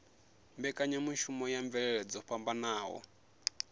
mbekanyamushumo ya mvelele dzo fhambanaho